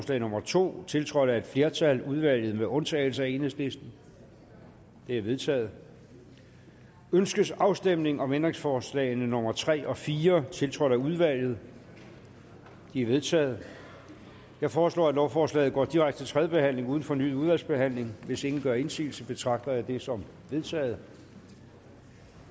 nummer to tiltrådt af et flertal af udvalget med undtagelse af enhedslisten det er vedtaget ønskes afstemning om ændringsforslag nummer tre og fire tiltrådt af udvalget de er vedtaget jeg foreslår at lovforslaget går direkte til tredje behandling uden fornyet udvalgsbehandling hvis ingen gør indsigelse betragter jeg det som vedtaget